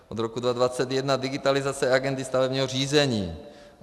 Od roku 2021 digitalizace agendy stavebního řízení.